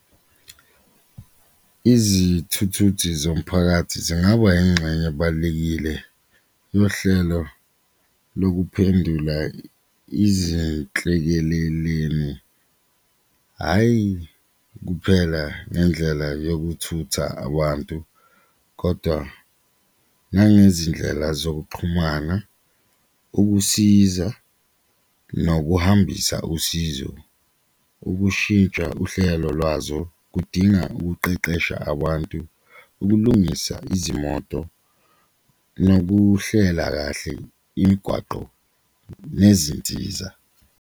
Izithuthuthi zomphakathi zingaba ingxenye ebalulekile yohlelo lokuphendula izinhlekaleleni hhayi kuphela ngendlela yokuthutha abantu, kodwa nangezindlela zokuxhumana, ukusiza nokuhambisa usizo. Ukushintsha uhlelo lwazo kudinga ukuqeqesha abantu, ukulungisa izimoto nokuhlela kahle imigwaqo nezinsiza.